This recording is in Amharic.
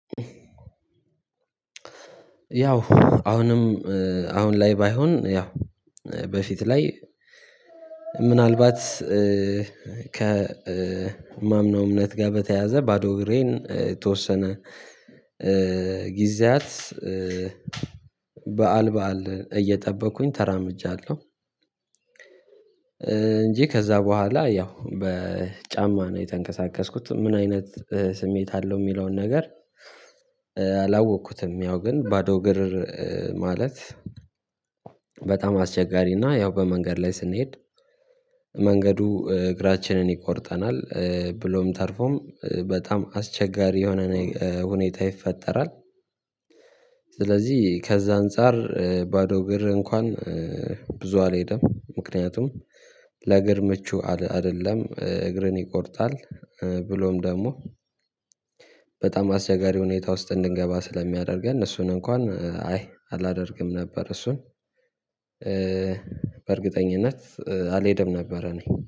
ያው አሁንም አሁን ላይ ባይሆን ያው በፊት ላይ ምናልባት ከማምነው እምነት ጋር በተያያዘ ባዶ እግሬን የተወሰነ ጊዜያት በዓል በዓል እየጠበቅኩኝ ተራምጃለሁ አምጃለሁ። እንጂ ከዛ በኋላ ያው በጫማ ነው የተንቀሳቀስኩት ምን አይነት ስሜት አለው የሚለውን ነገር? አላወቅኩትም ያው ግን ባዶ እግርር ማለት በጣም አስቸጋሪና ያው በመንገድ ላይ ስንሄድ መንገዱ እግራችንን ይቆርጠናል ብሎም ተርፎም በጣም አስቸጋሪ የሆነ ሁኔታ ይፈጠራል። ስለዚህ ከዛ አንፃር ባዶ እግር እንኳን ብዙ አልሄደም ምክንያቱም ለእግር ምቹ አይደለም እግርን ይቆርጣል። ብሎም ደግሞ በጣም አስቸጋሪ ሁኔታ ውስጥ እንድንገባ ስለሚያደርገን እሱን እንኳን አይ አላደርግም ነበር። እሱን በእርግጠኝነት አልሄደም ነበረ። እኔ